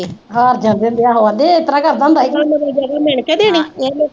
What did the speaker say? ਹਾਰ ਜਾਂਦੇ ਹੁੰਦੇ ਸੀ, ਆਹੋ ਕਹਿੰਦੇ ਉਹ ਇਸ ਤਰ੍ਹਾਂ ਕਰਦਾ ਹੁੰਦਾ ਸੀ